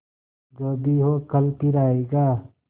जो भी हो कल फिर आएगा